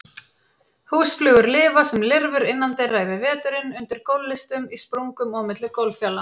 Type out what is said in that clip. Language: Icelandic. Húsflugur lifa sem lirfur innandyra yfir veturinn, undir gólflistum, í sprungum og á milli gólffjala.